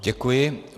Děkuji.